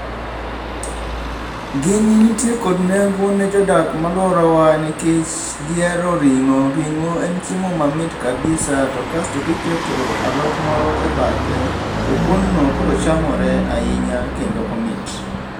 Gini nitie kod nengo ne jodak malworawa nikech gihero ring'o, ring'o en chiemo mamit kabisa to kasto kiketo alot moro e bathe to kuon no koro chamore ahinya kendo omit.